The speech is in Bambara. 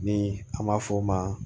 Ni an b'a f'o ma